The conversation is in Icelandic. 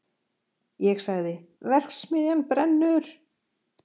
Ég sagði: verksmiðjan brennur!